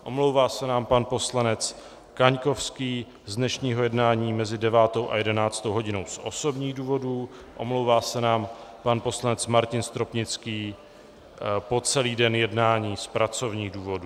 Omlouvá se nám pan poslanec Kaňkovský z dnešního jednání mezi 9. a 11. hodinou z osobních důvodů, omlouvá se nám pan poslanec Martin Stropnický po celý den jednání z pracovních důvodů.